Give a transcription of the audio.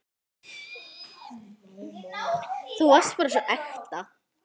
Þú varst bara svo ekta.